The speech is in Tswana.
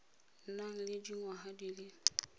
nang le dingwaga di le